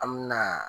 An me na